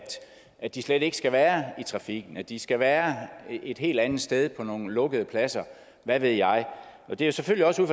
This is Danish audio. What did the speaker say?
at de slet ikke skal være i trafikken at de skal være et helt andet sted på nogle lukkede pladser hvad ved jeg det er selvfølgelig også ud